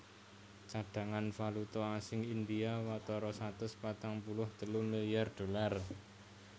Cadhangan valuta asing India watara satus patang puluh telu milyar dolar